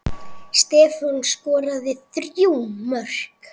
Stefán skoraði þrjú mörk.